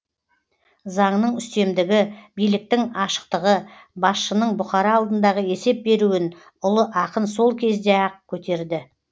заңның үстемдігі биліктің ашықтығы басшының бұқара алдындағы есеп беруін ұлы ақын сол кезде ақ көтерді